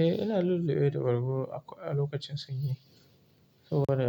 Eh, ina lulluɓe da agogo a lokacin sanyi saboda